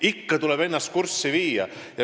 Ikka tuleb ennast kurssi viia.